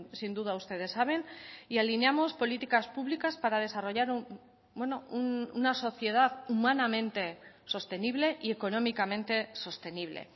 sin duda ustedes saben y alineamos políticas públicas para desarrollar una sociedad humanamente sostenible y económicamente sostenible